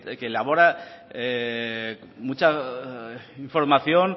que elabora mucha información